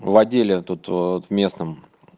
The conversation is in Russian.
в отделе тут вот в местом